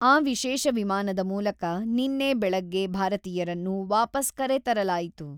ಆ ವಿಶೇಷ ವಿಮಾನದ ಮೂಲಕ ನಿನ್ನೆ ಬೆಳಗ್ಗೆ ಭಾರತೀಯರನ್ನು ವಾಪಸ್ ಕರೆ ತರಲಾಯಿತು.